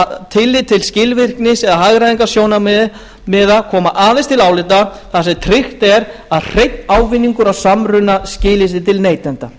að tillit til skilvirknis eða hagræðingarsjónarmiða koma aðeins til álita þar sem tryggt er að hreinn ávinningur af samruna skili sér til neytenda